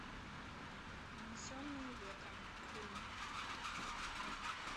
унесенные ветром фильм